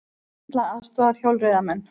Þyrla aðstoðar hjólreiðamenn